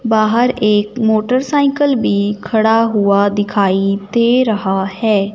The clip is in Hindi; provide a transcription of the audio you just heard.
बाहर एक मोटरसाइकल भी खड़ा हुआ दिखाई दे रहा है।